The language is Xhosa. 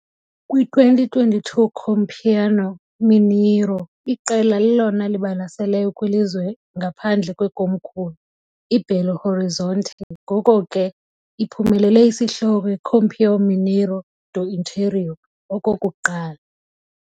Kwi-2022 Campeonato Mineiro, iqela lelona libalaseleyo kwilizwe ngaphandle kwekomkhulu, i-Belo Horizonte, ngoko ke iphumelele isihloko "Campeão Mineiro do Interior" okokuqala.